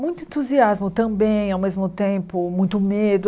Muito entusiasmo também, ao mesmo tempo muito medo.